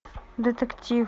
детектив